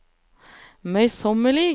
møysommelig